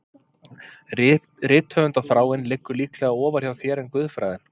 Rithöfundarþráin liggur líklega ofar hjá þér en guðfræðin